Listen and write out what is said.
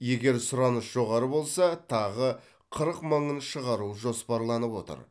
егер сұраныс жоғары болса тағы қырық мыңын шығару жоспарланып отыр